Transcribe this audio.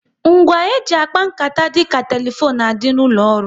Ngwa e ji akpa nkata dịka telefone n'adi n'ụlọ ọrụ